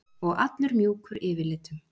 Og allur mjúkur yfirlitum.